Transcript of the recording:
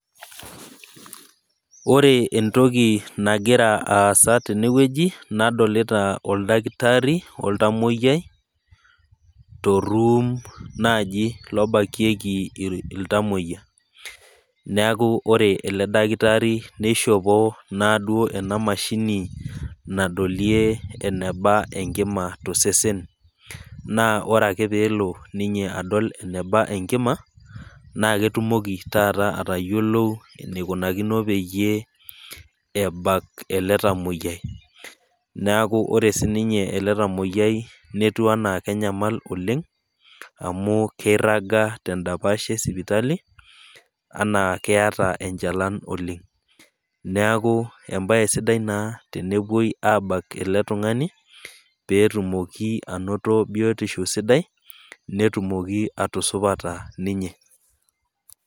Ore entoki nagira aasa tenewueji, nadolita oldakitari oltamwoiyiai toruum naaji lobakieki iltamwoiya. Neaku ore ele dakitaari neishopo naaduo ena mashini nadolie enebaa enkima to sesen na ore ake peelo adol ninyeenebaa enkima, naake etumoki taata atayiolou eneikunakino pee ebak ele tamwoiyai. Neaku ore siininye ele tamwoiyiai netiu anaa kenyamal oleng', amu keiraga tendapash e sipitali anaa keata enchalan oleng'. Neaku embaye sidai naa tenepuoi aabak ele tung'ani peetumoki ainoto biotisho sidai, netumoki atiusaupata ninye.